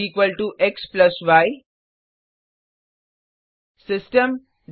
Result xy system